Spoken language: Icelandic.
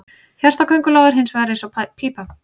Hjarta köngulóa er hins vegar eins og pípa.